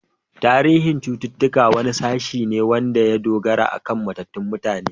Tarihin ilimin cuttutuka wani sashe ne wanda ya dogara akan matattun mutane.